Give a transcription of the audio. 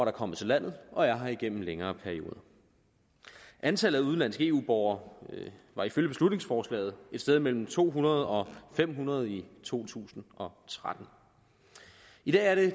er kommet til landet og er her igennem en længere periode antallet af udenlandske eu borgere var ifølge beslutningsforslaget et sted mellem to hundrede og fem hundrede i to tusind og tretten i dag er det